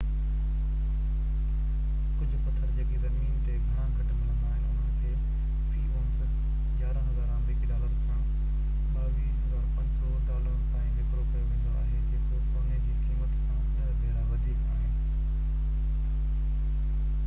ڪجهه پٿر جيڪي زمين تي گهڻا گهٽ ملندا آهن انهن کي في اونس 11000 آمريڪي ڊالرن کان 22500 ڊالرن تائين وڪرو ڪيو ويندو آهي جيڪو سوني جي قيمت کان ڏهہ ڀيرا وڌيڪ آهي